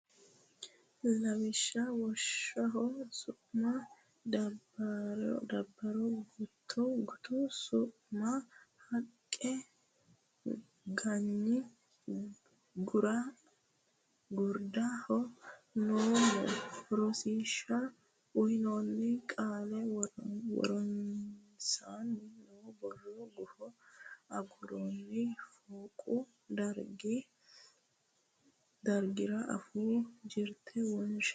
Lawishsha woshsho su ma Daabbaro gutu su ma haqqa ganyi gurda ha noommo Rosiishsha uynoonni qaalla woronsaanni noo borro gufo agurroonni fooqu dargira afuu jirte wonshe.